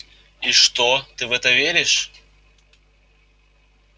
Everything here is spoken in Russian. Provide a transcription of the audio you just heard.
и что ты в это веришь